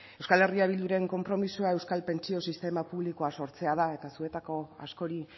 euskal herria bilduren konpromisoa euskal pentsio sistema publikoa sortzea da eta zuetako askori